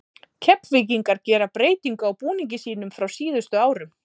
Keflvíkingar gera breytingu á búningi sínum frá síðustu árum.